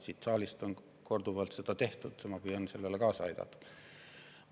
Siin saalis on seda korduvalt tehtud ja ma püüan sellele kaasa aidata.